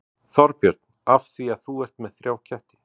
Þorbjörn: Af því að þú ert með þrjá ketti?